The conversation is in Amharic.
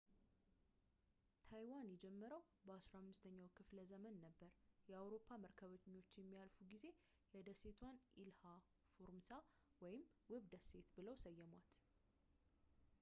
ታይዋን የጀመረው በ 15 ኛው ክፍለ ዘመን ነበር የአውሮፓ መርከበኞች የሚያልፉ ጊዜ የደሴቷን ኢልሃ ፎርሞሳ ወይም ውብ ደሴት ብለው ሰየሟት